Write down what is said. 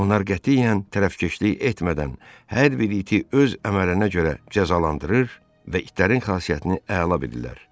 Onlar qətiyyən tərəfkeşlik etmədən hər bir iti öz əməlinə görə cəzalandırır və itlərin xasiyyətini əla bilirlər.